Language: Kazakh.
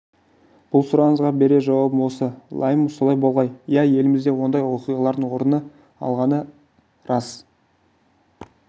бұл сұрағыңызға берер жауабым осы лайым солай болғай иә елімізде ондай оқиғалардың орын алғаны рас ақыры